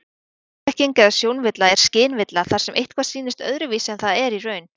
Sjónblekking eða sjónvilla er skynvilla þar sem eitthvað sýnist öðruvísi en það er í raun.